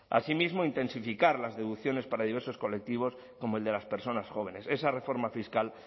asimismo intensificar las deducciones para diversos colectivos como el de las personas jóvenes esa reforma fiscal